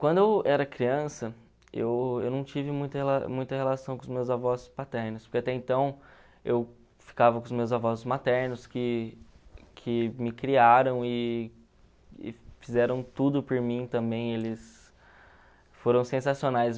Quando eu era criança, eu eu não tive muita muita relação com os meus avós paternos, porque até então eu ficava com os meus avós maternos, que que me criaram e e fizeram tudo por mim também, eles foram sensacionais.